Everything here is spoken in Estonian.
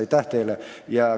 Aitäh teile!